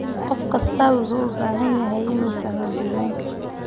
Qof kastaa wuxuu u baahan yahay inuu fahmo diiwaanka.